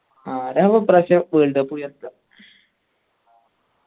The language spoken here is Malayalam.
ആരവ്ഒ ഇപ്പ്രാവശ്യം world cup ഉയർത്തുആ